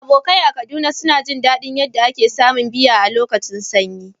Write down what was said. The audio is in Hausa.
Abokai a Kaduna sun ji dadin yadda ake samun miya a lokacin sanyi.